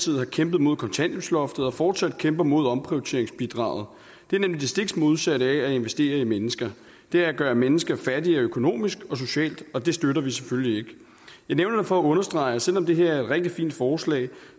har kæmpet mod kontanthjælpsloftet og fortsat kæmper mod omprioriteringsbidraget det er nemlig det stik modsatte af at investere i mennesker det er at gøre mennesker fattigere økonomisk og socialt og det støtter vi selvfølgelig ikke jeg nævner det for at understrege at selv om det her er et rigtig fint forslag